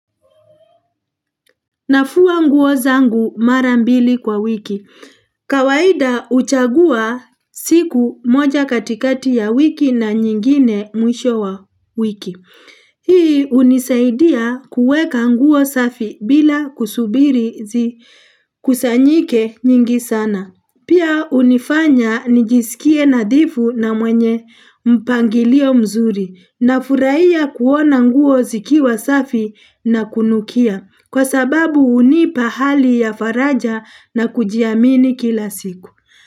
Nafua nguo zangu mara mbili kwa wiki. Kawaida uchagua siku moja katikati ya wiki na nyingine mwisho wa wiki. Hii unisaidia kuweka nguo safi bila kusubiri zikusanyike nyingi sana. Pia unifanya nijisikie nadhifu na mwenye mpangilio mzuri. Nafurahia kuona nguo zikiwa safi na kunukia. Kwa sababu unipa hali ya faraja na kujiamini kila siku.